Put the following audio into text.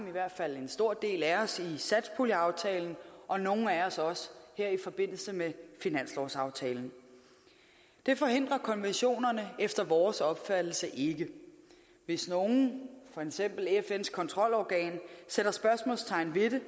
i hvert fald en stor del af os i satspuljeaftalen og nogle af os også her i forbindelse med finanslovsaftalen det forhindrer konventionerne efter vores opfattelse ikke hvis nogen for eksempel fns kontrolorgan sætter spørgsmålstegn ved det